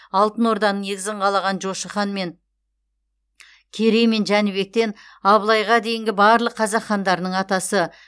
алтын орданың негізін қалаған жошы хан мен керей мен жәнібектен абылайға дейінгі барлық қазақ хандарының атасы